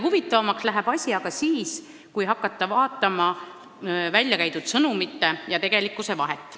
Asi läheb aga huvitavamaks, kui hakata vaatama väljakäidud sõnumite ja tegelikkuse vahet.